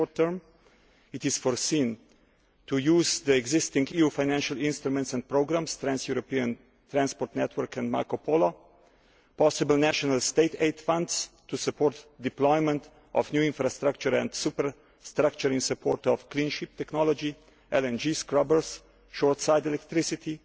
In the short term it is foreseen to use the existing EU financial instruments and programmes, Trans European Transport Network and Marco Polo, and possible national state aid funds to support the deployment of new infrastructure and superstructure in support of green ship technology, LNG scrubbers and short side electricity.